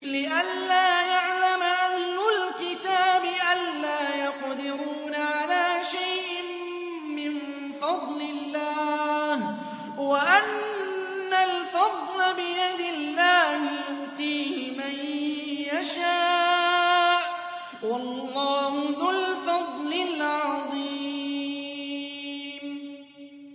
لِّئَلَّا يَعْلَمَ أَهْلُ الْكِتَابِ أَلَّا يَقْدِرُونَ عَلَىٰ شَيْءٍ مِّن فَضْلِ اللَّهِ ۙ وَأَنَّ الْفَضْلَ بِيَدِ اللَّهِ يُؤْتِيهِ مَن يَشَاءُ ۚ وَاللَّهُ ذُو الْفَضْلِ الْعَظِيمِ